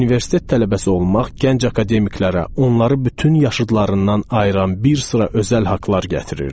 Universitet tələbəsi olmaq gənc akademiklərdə onları bütün yaşıdlarından ayıran bir sıra özəl haqlar gətirirdi.